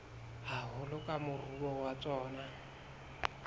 haholo ke moruo wa tsona